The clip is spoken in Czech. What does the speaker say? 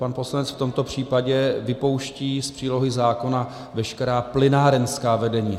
Pan poslanec v tomto případě vypouští z přílohy zákona veškerá plynárenská vedení.